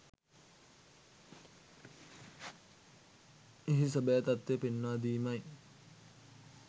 එහි සැබෑ තත්වය පෙන්වා දීමයි.